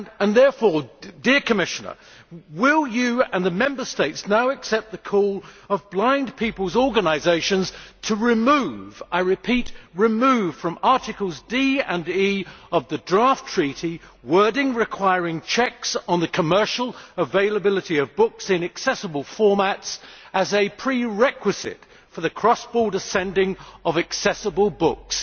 Therefore, Commissioner, will you and the Member States now accept the call of blind people's organisations to remove I repeat, remove from Articles D and E of the draft treaty wording which requires checks on the commercial availability of books in accessible formats to be made as a prerequisite for the cross border sending of accessible books?